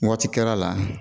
Waati kɛr'a la